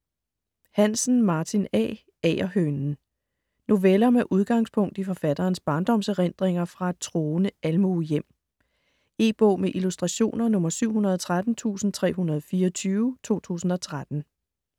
Hansen, Martin A.: Agerhønen Noveller med udgangspunkt i forfatterens barndomserindringer fra et troende almuehjem. E-bog med illustrationer 713324 2013.